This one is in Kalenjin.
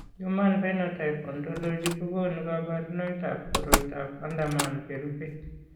Human Phenotype Ontology kokonu kabarunoikab koriotoab Anderman cherube.